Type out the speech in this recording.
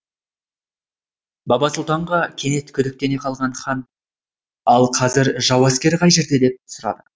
бабасұлтанға кенет күдіктене қалған хан ал қазір жау әскері қай жерде деп сұрады